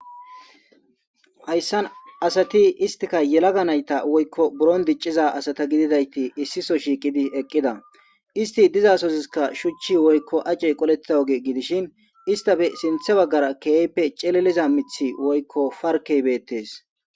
Hayssan asati istika yelaga nayta woykko buron dicciza asata gididayti issiso shiiqidi eqqida isti dizasoziska shuchchi woykko acey qoleththa oge gidishin istafe sinthe baggara keeyppe celeliza mithi woykko farkeybeettes.